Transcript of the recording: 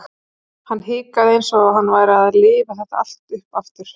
Hann hikaði eins og hann væri að lifa þetta allt upp aftur.